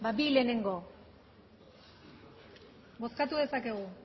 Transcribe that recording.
bi lehenengo bozkatu dezakegu